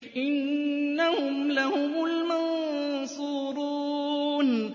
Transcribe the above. إِنَّهُمْ لَهُمُ الْمَنصُورُونَ